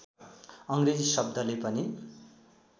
अङ्ग्रेजी शब्दले पनि